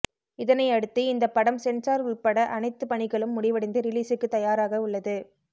இதனையடுத்து இந்த படம் சென்சார் உள்பட அனைத்து பணிகளும் முடிவடைந்து ரிலீசுக்கு தயாராக உள்ளது